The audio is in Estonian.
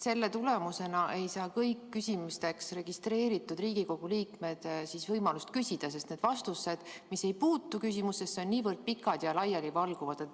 Selle tõttu ei saa kõik küsijaks registreerunud Riigikogu liikmed võimalust küsida, sest vastused, mis ei puutu küsimusse, on niivõrd pikad ja laialivalguvad.